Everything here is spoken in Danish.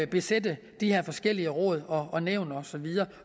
besætte de her forskellige råd og nævn og så videre